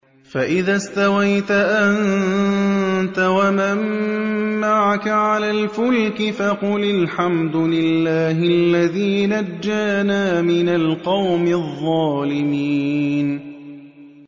فَإِذَا اسْتَوَيْتَ أَنتَ وَمَن مَّعَكَ عَلَى الْفُلْكِ فَقُلِ الْحَمْدُ لِلَّهِ الَّذِي نَجَّانَا مِنَ الْقَوْمِ الظَّالِمِينَ